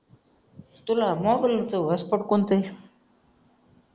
तुला मोबाईलचा हॉटस्पॉट कोणतय